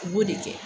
U b'o de kɛ